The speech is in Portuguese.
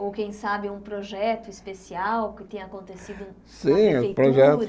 Ou, quem sabe, um projeto especial que tenha acontecido com a Prefeitura?